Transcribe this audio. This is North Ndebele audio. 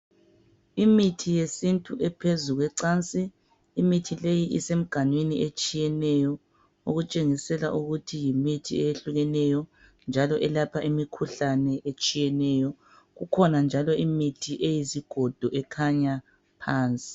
Imithi yesintu ephezu kwecansi imithi leyi isemnganwini etshiyeneyo okutshengisela njalo ukuthi yimithi ehlukeneyo njalo elapha imikhuhlane etshiyeneyo kukhona njalo imithi iyizigodo ekhanya phansi.